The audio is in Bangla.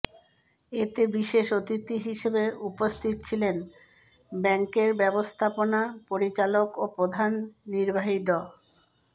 এতে বিশেষ অতিথি হিসেবে উপস্থিত ছিলেন ব্যাংকের ব্যবস্থাপনা পরিচালক ও প্রধান নির্বাহী ড